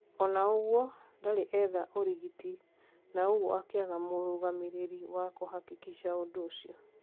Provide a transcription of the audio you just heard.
Ona ũgũo, ndarĩ etha ũrigiti na ũgûo akiaga murũgamiriri wa kuhakikisha ũndu ũcio